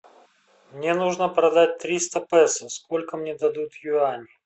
мне нужно продать триста песо сколько мне дадут юаней